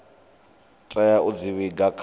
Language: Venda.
tea u dzi vhiga kha